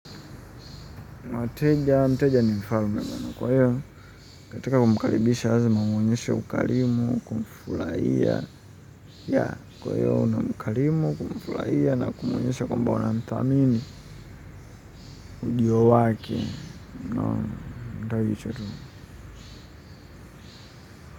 Wateja mteja ni mfalme kwa hiyo katika kumkaribisha lazima umwonyeshe ukarimu kumfurahia kwa hiyo unamkarimu kumfurahia na kumwonyesha kwamba unamdhamini ujio wake unaona mfurahishe roho.